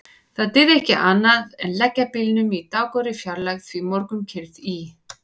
Það dygði ekki annað en leggja bílnum í dágóðri fjarlægð því morgunkyrrð í